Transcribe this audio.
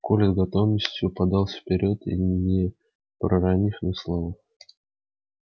коля с готовностью подался вперёд не проронив ни слова